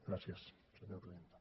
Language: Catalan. gràcies senyora presidenta